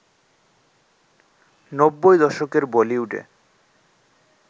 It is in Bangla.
নব্বই দশকের বলিউডে